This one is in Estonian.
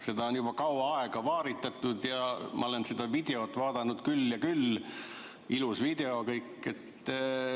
Seda on juba kaua aega vaaritatud ja ma olen seda videot vaadanud küll ja küll – ilus video.